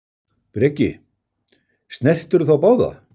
Breki: Snertirðu þá báða?